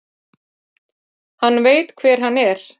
Hann veit hver hann er.